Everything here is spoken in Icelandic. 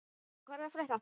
Marsa, hvað er að frétta?